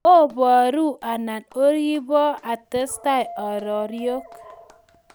Oboro anan oribo atestai areriok?